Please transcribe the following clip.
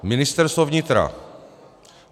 Ministerstvo vnitra.